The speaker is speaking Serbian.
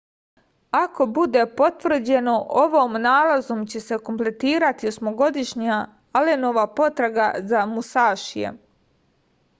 ako bude potvrđeno ovom nalazom će se kompletirati osmogodišnja alenova potraga za musašijem